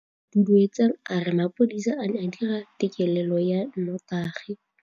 Duduetsang a re mapodisa a ne a dira têkêlêlô ya nnotagi.